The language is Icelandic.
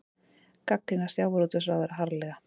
Gagnrýna sjávarútvegsráðherra harðlega